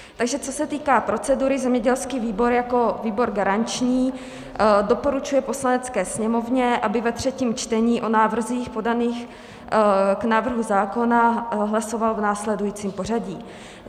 Takže co se týká procedury, zemědělský výbor jako výbor garanční doporučuje Poslanecké sněmovně, aby ve třetím čtení o návrzích podaných k návrhu zákonů hlasovala v následujícím pořadí: